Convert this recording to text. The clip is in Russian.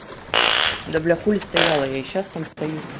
да бля хули стояла я и сейчас там стою